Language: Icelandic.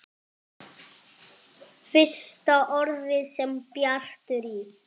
Fyrsta orðið sem Bjartur í